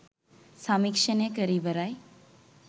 සමීක්ෂණය කර ඉවරයි